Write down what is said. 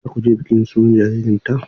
Za ku je bikin sunan jaririnta?